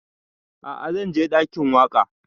A'a zan je ɗakin waƙa